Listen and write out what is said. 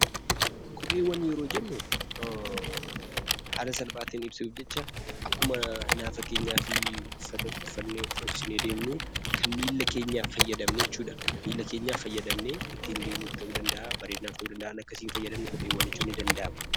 Kopheewwan yeroo jennu haala salphaatiin ibsuuf jecha akkuma nafa keenyaaf uffata uffatnee of dhoksinee deemnu kan miilla keenyaaf fayyadamnu jechuudha. Miilla keenyaaf fayyadamnee ittiin deemnu ta'uu danda'a, bareedinaaf ta'uu danda'a waan akkasiin fayyadamnu kophee jechuun ni danda'ama.